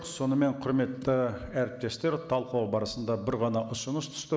сонымен құрметті әріптестер талқылау барысында бір ғана ұсыныс түсті